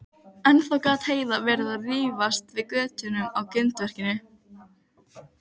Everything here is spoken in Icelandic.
Eftir þessa svardaga fól kafbátsforinginn vélamann sinn Werner